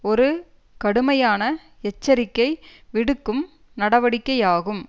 ஒரு கடுமையான எச்சரிக்கை விடுக்கும் நடவடிக்கையாகும்